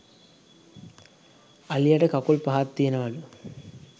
අලියට කකුල් පහක් තියෙනවලු